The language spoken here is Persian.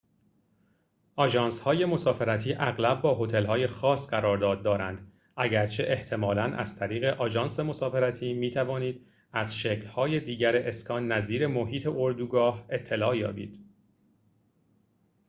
آژانس‌های مسافرتی اغلب با هتل‌های خاص قرارداد دارند اگرچه احتمالاً از طریق آژانس مسافرتی می‌توانید از شکل‌های دیگر اسکان نظیر محیط اردوگاه اطلاع یابید